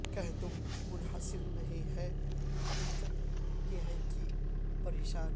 کہ تم منحصر نہیں ہیں حقیقت یہ ہے کہ پر پریشان